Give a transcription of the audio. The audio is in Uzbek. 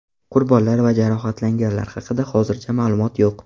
Qurbonlar va jarohatlanganlar haqida hozircha ma’lumot yo‘q.